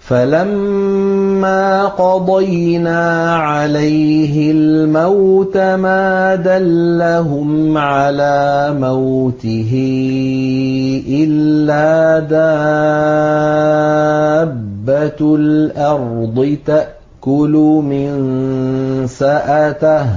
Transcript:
فَلَمَّا قَضَيْنَا عَلَيْهِ الْمَوْتَ مَا دَلَّهُمْ عَلَىٰ مَوْتِهِ إِلَّا دَابَّةُ الْأَرْضِ تَأْكُلُ مِنسَأَتَهُ ۖ